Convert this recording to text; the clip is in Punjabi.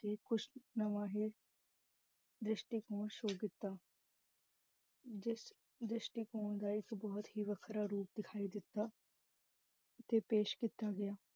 ਤੇ ਕੁਛ ਨਵਾਂਹੀ ਦ੍ਰਿਸ਼ਟੀਕੋਣ show ਕੀਤਾ ਜਿਸ ਦ੍ਰਿਸ਼ਟੀਕੋਣ ਦਾ ਇਹ ਬਹੁੱਤ ਹੀ ਵਖਰਾ ਰੂਪ ਦਿਖਾਈ ਦਿਤਾ ਤੇ ਪੇਸ਼ ਕੀਤਾ ਗਿਆ